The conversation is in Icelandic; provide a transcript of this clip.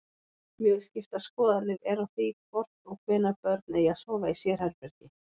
Mjög skiptar skoðanir eru á því hvort og hvenær börn eigi að sofa í sérherbergi.